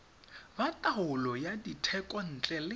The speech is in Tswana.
ba taolo ya dithekontle le